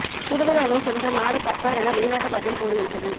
கூடுதலானோர் சென்ற நாடு கத்தார் என வெளிநாட்டு வாரியம் கூறுகின்றது